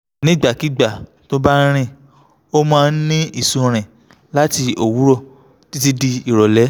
nígbàkigbà tó bá ń rìn ó máa ń ní ìsunrin láti òwúrọ̀ títí di ìrọ̀lẹ́